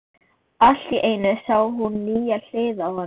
Allt í einu sá hún nýja hlið á honum.